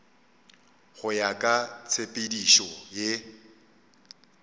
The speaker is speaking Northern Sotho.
go ya ka tshepedišo ye